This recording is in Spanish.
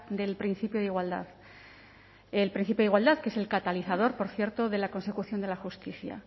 del principio de igualdad el principio de igualdad que es el catalizador por cierto de la consecución de la justicia